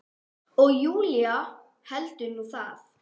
Og Júlía heldur nú það!